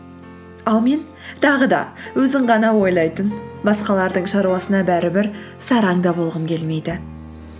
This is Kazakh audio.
ал мен тағы да өзін ғана ойлайтын басқалардың шаруасына бәрібір сараң да болғым келмейді